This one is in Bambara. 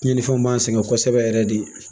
Tiɲɛnifɛnw b'an sɛgɛn kosɛbɛ yɛrɛ de